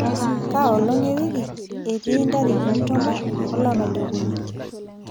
koolong ewiki etii ntarikini tomon olapa le okuni